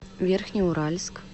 верхнеуральск